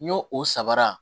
N'o o sabara